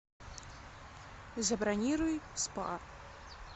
забронируй спа